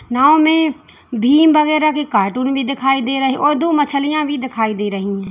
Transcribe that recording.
नाव में भीम वगैरा की कार्टून भी दिखाई दे रहे है और दो मछलियां भी दिखाई दे रही है।